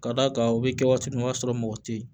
Ka d'a kan u bɛ kɛ waati min o b'a sɔrɔ mɔgɔ tɛ yen